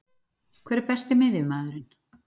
Hver er Besti miðjumaðurinn?